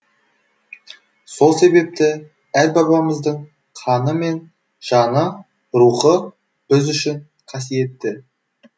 сол себепті әр бабамыздың қаны мен жаны рухы біз үшін қасиетті